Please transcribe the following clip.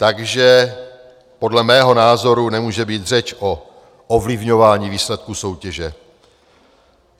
Takže podle mého názoru nemůže být řeč o ovlivňování výsledků soutěže.